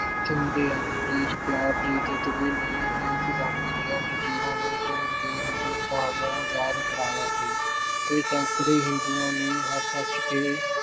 ਚੁੰਮਦੇ ਹਨ, ਦੇਸ਼ ਪਿਆਰ ਦੇ ਜਜ਼ਬੇ ਨੇ ਹੀ ਗੁਲਾਮੀ ਦੀਆਂ ਜ਼ੰਜੀਰਾਂ ਨੂੰ ਤੋੜ ਕੇ ਹਿੰਦੁਸਤਾਨ ਨੂੰ ਆਜ਼ਾਦ ਕਰਵਾਇਆ ਸੀ ਤੇ ਸੈਂਕੜੇ ਹਿੰਦੂਆਂ ਨੇ ਹੱਸ-ਹੱਸ ਕੇ